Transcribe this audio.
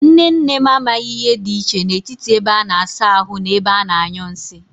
Nne nne m amaghi ihe di iche n'etiti ebe a na-asa ahu na ebe a na-anyu nsi.